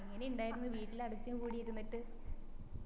എങ്ങനെ ഇണ്ടായിരുന്നു വീട്ടില് അടച്ച് കൂടി ഇരിന്നിട്ട്